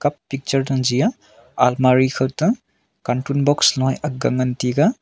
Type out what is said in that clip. picture than chi aa anmari khaw ta kantu lu box nu ya agai ngan taiga.